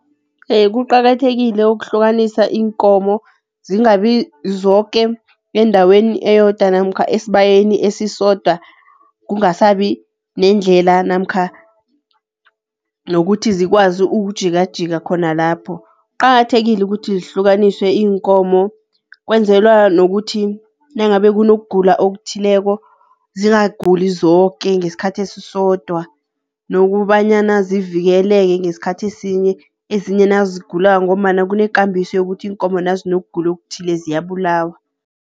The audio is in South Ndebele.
Iye, kuqakathekile ukuhlukanisa iinkomo zingabi zoke endaweni eyodwa namkha esibayeni esisodwa, kungasabi nendlela namkha nokuthi zikwazi ukujikajika khona lapho. Kuqakathekile ukuthi zihlukaniswe iinkomo, kwenzelwa nokuthi nangabe kunokugula okuthileko zingaguli zoke ngesikhathi esisodwa. Nokubanyana zivikeleke ngesikhathi esinye, ezinye nazigulako, ngombana kune kambiso yokuthi iinkomo nazinokugula okuthile ziyabulawa.